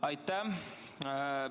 Aitäh!